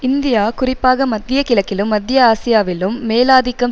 India குறிப்பாக மத்திய கிழக்கிலும் மத்திய ஆசியாவிலும் மேலாதிக்கம்